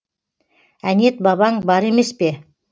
әнет бабаң бар емес пе